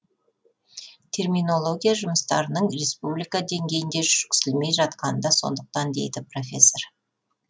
терминология жұмыстарының республика деңгейінде жүргізілмей жатқаны да сондықтан дейді профессор